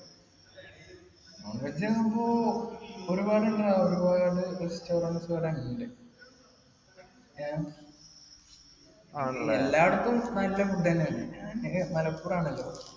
non veg ആവുമ്പോ ഒരുപാടുണ്ടെടാ ഒരുപാട് restaurants ഏർ എല്ലാവടത്തും നല്ല food ന്നെയാണ് മലപ്പുറം ആണല്ലോ